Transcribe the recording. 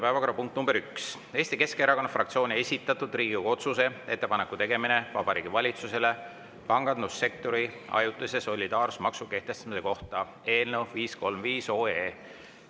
Päevakorrapunkt nr 1 on Eesti Keskerakonna fraktsiooni esitatud Riigikogu otsuse "Ettepaneku tegemine Vabariigi Valitsusele pangandussektori ajutise solidaarsusmaksu kehtestamise kohta" eelnõu 535.